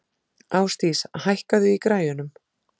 Ásdís, hækkaðu í græjunum.